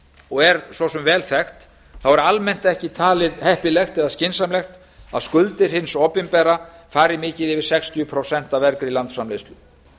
og er svo sem vel þekkt er almennt ekki talið heppilegt eða skynsamlegt að skuldir hins opinbera fari mikið yfir sextíu prósent af vergri landsframleiðslu